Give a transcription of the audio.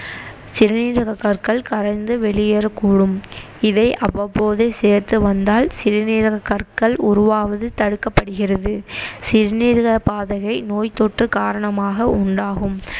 சிறுநீரகக் கற்கள் கரைந்து வெளியேறக்கூடும் இதை அவ்வப்போதே சேர்த்து வந்தால் சிறுநீரகக்கற்கள் உருவாவது தடுக்கப்படுகிறது சிறுநீரகப்பாதையை நோய்த்தொற்று காரணமாக உண்டாகும்